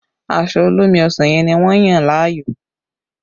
Aṣọ olómi ọsàn yẹn ni wọ́n yàn láàyò